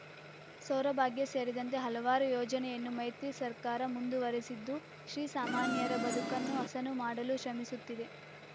ಸೌರಭಾಗ್ಯ ಸೇರಿದಂತೆ ಹಲವಾರು ಯೋಜನೆಯನ್ನು ಮೈತ್ರಿ ಸರ್ಕಾರ ಮುಂದುವರಿಸಿದ್ದು ಶ್ರೀಸಾಮಾನ್ಯರ ಬದುಕನ್ನು ಹಸನು ಮಾಡಲು ಶ್ರಮಿಸುತ್ತಿದೆ